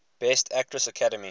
best actress academy